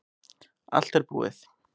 Allt er búið